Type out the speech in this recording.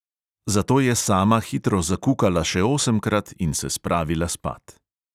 Zato je sama hitro zakukala še osemkrat in se spravila spat.